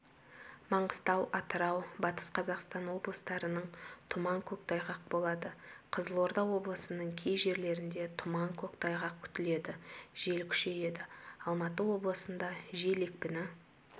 маңғыстау атырау батыс қазақстан облыстарының тұман көктайғақ болады қызылорда облысының кей жерлерінде тұман көктайғақ күтіледі жел күшейеді алматы облысында жел екпіні